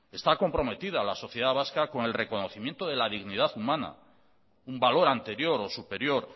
está comprometida la sociedad vasca con el reconocimiento de la dignidad humana un valor anterior o superior